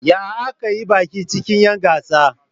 Ya aka yi baki cikin'yan gasa?